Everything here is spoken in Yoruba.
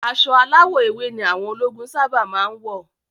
Aṣọ aláwọ̀ ewé ni àwọn ológun sáábà máa ń wọ̀